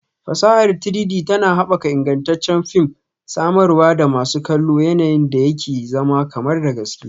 Fasahar 3-D tana haɓaka ingantaccen fim, samarwa da masu kallo yanayin da yake zama kamar da gaske